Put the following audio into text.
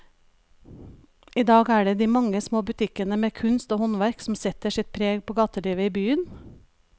I dag er det de mange små butikkene med kunst og håndverk som setter sitt preg på gatelivet i byen.